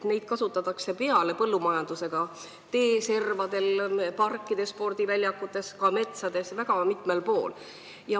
Neid kasutatakse peale põllumajanduse ka teeservades, parkides, spordiväljakutel, ka metsades – väga mitmel pool.